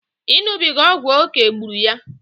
Iṅụbiga ọgwụ oké gburu ya